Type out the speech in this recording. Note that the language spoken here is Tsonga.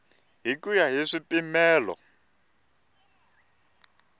hi ku ya hi swipimelo